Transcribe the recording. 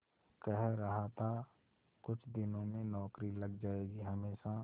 कह रहा था कुछ दिनों में नौकरी लग जाएगी हमेशा